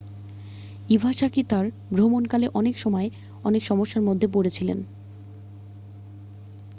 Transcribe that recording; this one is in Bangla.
ইভাশাকি তাঁর ভ্রমণকালে অনেক সময় অনেক সমস্যার মধ্যে পড়েছিলেন